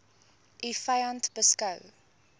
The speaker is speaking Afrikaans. u vyand beskou